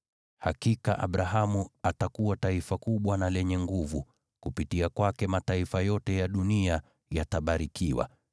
Hakika Abrahamu atakuwa taifa kubwa na lenye nguvu, kupitia kwake mataifa yote ya dunia yatabarikiwa.